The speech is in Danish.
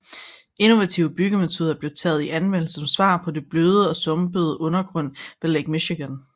Innovative byggemetoder blev taget i anvendelse som svar på den bløde og sumpede undergrund ved Lake Michigan